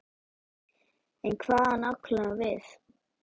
En hvað á hann nákvæmlega við?